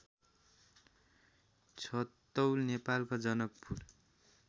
छतौल नेपालको जनकपुर